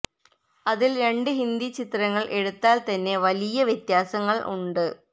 അതിൽ രണ്ടു ഹിന്ദി ചിത്രങ്ങൾ എടുത്താൽ തന്നെ വലിയ വ്യത്യാസങ്ങൾ ഉണ്ട്